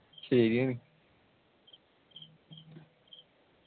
ശരിയാണ്